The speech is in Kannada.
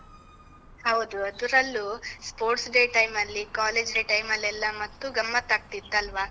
ಹೌದು. ಅದ್ರಲ್ಲೂ sports day time ಅಲ್ಲಿ college day time ಲ್ಲೆಲ್ಲ ಮತ್ತೂ ಗಮತ್ತ್ ಆಗ್ತಿತ್ತಲ್ವಾ?